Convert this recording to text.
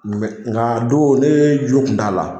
Nka a don ne jo kun t'a la